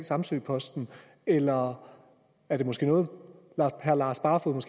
samsø posten eller er det måske noget herre lars barfoed